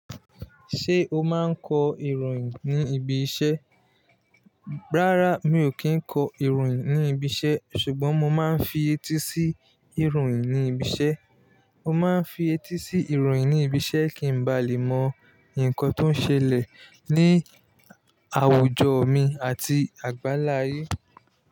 Ṣé o máa ń kọ ìròyìn ní ibi iṣẹ́? Rárá, mi ò kí ń kọ ìròyìn ní ibi iṣẹ́ ṣùgbọ́n mo máa ń fi etí sí ìròyìn ní ibi iṣẹ́. Mo máa ń fi etí sí ìròyìn ní ibi iṣẹ́ kí n ba lè mọ nǹkan tó ń ṣẹlẹ̀ ní àwùjọ mi àti àgbáláyé.